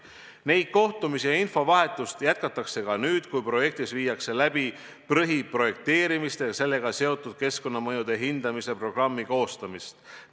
Neid kohtumisi ja infovahetust jätkatakse ka nüüd, kui viiakse läbi põhiprojekteerimise ja sellega seotud keskkonnamõjude hindamise programmi koostamist.